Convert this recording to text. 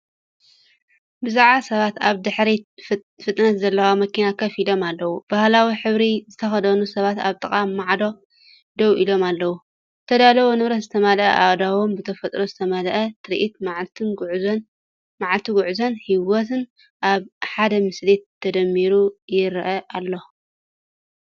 ብዙሓት ሰባት ኣብ ድሕሪት ፍጥነት ዘለዋ መኪና ኮፍ ኢሎም ኣለዉ፣ ባህላዊ ሕብሪ ዝተኸድኑ ሰባት ኣብ ጥቓ ማዕጾ ደው ኢሎም ኣለዉ። ዝተዳለወ ንብረት ዝመልአ ኣእዳዎም፡ብተፈጥሮ ዝተመልአ ትርኢት፡ መዓልቲ ጉዕዞን ህይወትን ኣብ ሓደ ምስሊ ተደሚሩ ይረአ ኣሎ።